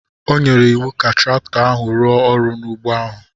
O nyere iwu ka traktọ ahụ rụọ ọrụ n’ugbo ahụ.